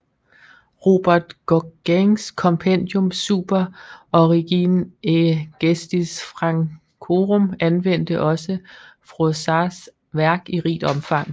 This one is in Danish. Robert Gaguins Compendium super origine et gestis Francorum anvendte også Froissarts værk i rigt omfang